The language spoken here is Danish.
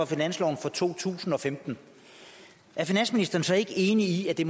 finanslov to tusind og femten er finansministeren så ikke enig i at det